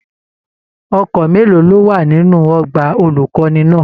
Ọkọ mélòó ló wà nínú ọgbà olukọni náà?